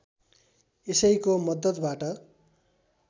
यसैको मद्दतबाट